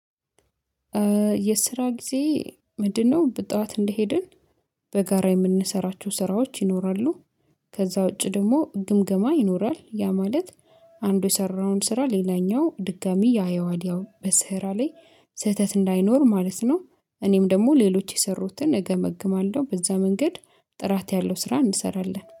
የስራ ጊዜ ምንድነው? በጠዋት እንደሄድን በጋራ የምንሰራቸው ስራዎች ይኖራሉ። ከዛ ውጪ ደግሞ ግምግማ ይኖራል ያ ማለት አንዱ የሰራውን ስራ ሌላኛው ድጋሚ ያየዋል ያው በስራ ላይ ስህተት እንዳይኖር ማለት ነው። እኔም ደግሞ ሌሎች የሰሩትን እገመግማለሁ በዛ መንገድ ጥራት ያለው ስራ እንሰራለን